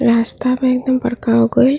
रास्ता में एकदम बड़का हो गो गइल।